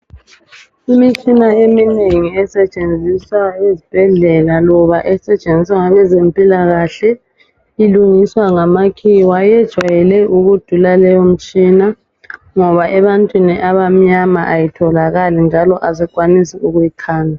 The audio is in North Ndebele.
Imitshina eminengi esetshenziswa ezibhedlela loba esetshenziswa ngabezempilakahle .Ilungiswa ngamakhiwa ijayele ukudula leyo mtshina ngoba ebantwini abamnyama ayitholakali njalo asikwanisi ukuyikhanda